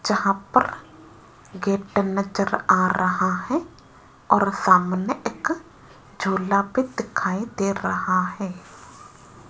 जहां पर गेट नजर आ रहा है और सामने एक झूला भी दिखाई दे रहा है।